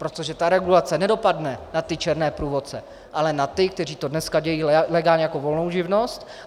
Protože ta regulace nedopadne na ty černé průvodce, ale na ty, kteří to dneska dělají legálně jako volnou živnost.